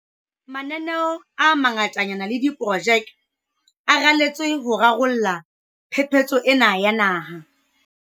Mananeo a mangatanyana le diprojeke a raletswe ho rarolla phephetso ena ya naha.